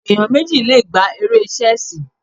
Ẹ̀yàn méjì le gbá eré Ṣẹ́sìì.